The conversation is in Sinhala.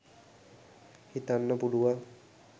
හිතන්න පුළුවන්.